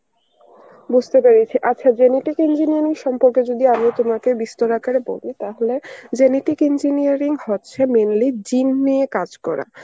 বুঝতে পেরেছি, আচ্ছা genetic engineering সম্পর্কে যদি আমি তোমাকে বিস্তার আকারে বলি তাহলে, genetic engineering হচ্ছে mainly gene নিয়ে কাজ করা.